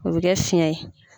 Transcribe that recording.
O bɛ kɛ fiyɛn ye.